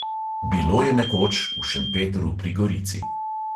Bilo je nekoč v šempetru pri gorici.